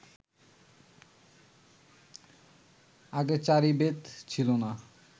আগে চারি বেদ ছিল না